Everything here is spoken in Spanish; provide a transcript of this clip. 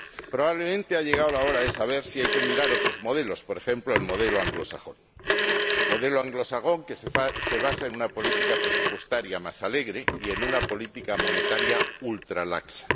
Probablemente ha llegado la hora de saber si hay que mirar otros modelos, por ejemplo el modelo anglosajón, que se basa en una política presupuestaria más alegre y en una política monetaria ultralaxa.